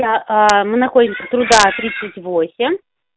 я аа мы находимся труда тридцать восемь